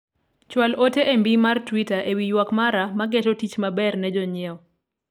chwal ote e mbi mar twita ewi ywak mara ma geto tich maber ne jonyiewo